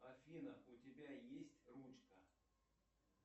афина у тебя есть ручка